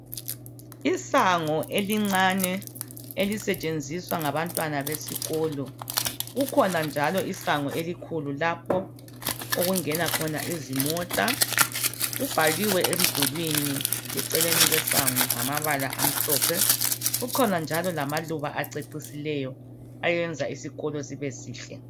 Isango elincane elisetshenziswa ngabantwana besikolo kukhona njalo isango elikhulu lapho okungena khona lezimota kubhaliwe emdulwini eceleni kwesango ngamabala amhlophe kukhona njalo lamaluba acecisileyo ayenza isikolo sibe sihle.